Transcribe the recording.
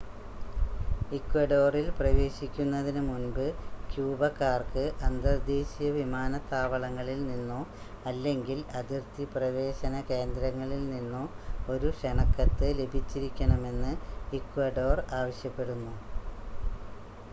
ഇക്വഡോറിൽ പ്രവേശിക്കുന്നതിനു മുൻപ് ക്യൂബക്കാർക്ക് അന്തർദേശീയ വിമാനത്താവളങ്ങളിൽ നിന്നോ അല്ലെങ്കിൽ അതിർത്തി പ്രവേശന കേന്ദ്രങ്ങളിൽ നിന്നോ ഒരു ക്ഷണക്കത്ത് ലഭിച്ചിരിക്കണമെന്ന് ഇക്വഡോർ ആവശ്യപ്പെടുന്നു